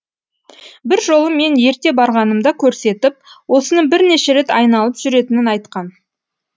бір жолы мен ерте барғанымда көрсетіп осыны бірнеше рет айналып жүретінін айтқан